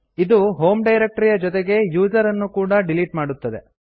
ಇದು home directory ಯ ಜೊತೆಗೆ ಯೂಸರ್ ಅನ್ನು ಕೂಡಾ ಡಿಲೀಟ್ ಮಾಡುತ್ತದೆ